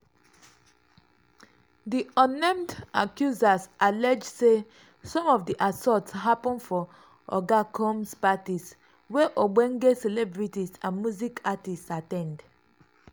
di unnamed accusers allege say some of di assaults happun for oga combs' parties wey ogbonge celebrities and music artists at ten d.